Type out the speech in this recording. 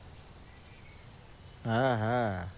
হ্যাঁ হ্যাঁ